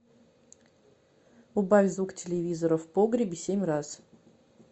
убавь звук телевизора в погребе семь раз